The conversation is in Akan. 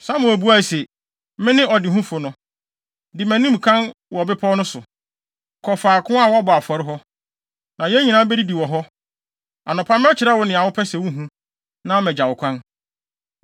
Samuel buae se, “Mene ɔdehufo no. Di mʼanim kan wɔ bepɔw no so, kɔ faako a wɔbɔ afɔre hɔ, na yɛn nyinaa bedidi wɔ hɔ. Anɔpa, mɛkyerɛ wo nea wopɛ sɛ wuhu, na magya wo kwan.